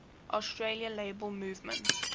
australian labour movement